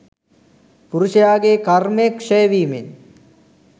පුරුෂයාගේ කර්මය ක්ෂය වීමෙන්